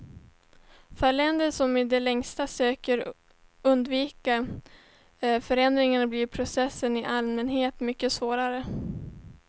För länder som i det längsta söker undvika förändring blir processen i allmänhet mycket svårare.